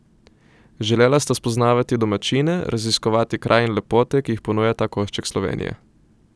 Želela sta spoznavati domačine, raziskovati kraj in lepote, ki jih ponuja ta košček Slovenije.